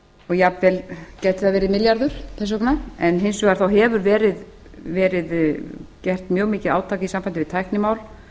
jafnvel gæti það verið milljarður þess vegna en hins vegar hefur verið gert mjög mikið átak í sambandi við tæknimál